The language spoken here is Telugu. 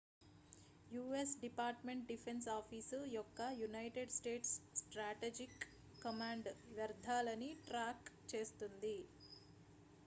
you S department defence office యొక్క యునైటెడ్ స్టేట్స్ స్ట్రాటెజిక్ కమాండ్ వ్యర్ధాలని ట్రాక్ చేస్తుంది